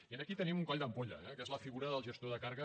i aquí hi tenim un coll d’ampolla que és la figura del gestor de càrrega